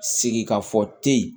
Sigi ka fɔ te